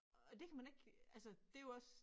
Og det kan man ikke altså det jo også